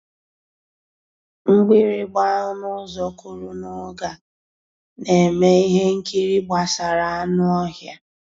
Mgbìrìgbà ọnụ́ ụ́zọ̀ kụ́rụ̀ n'ògé á ná-èmè íhé nkírí gbàsàrà ànú ọ́híá.